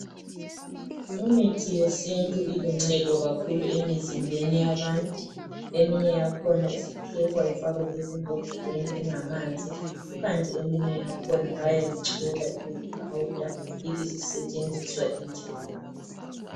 Imithi yesintu iluncedo kakhulu emizimbeni yabantu eminye yakhona isiphekwa ifakwe ezimbodleleni ingamanzi, kukanti eminye yakhona bayayichola ibe yipowder ibesisetshenziswa injalo.